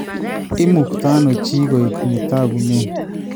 Imuktaano chi koek ne takunen ?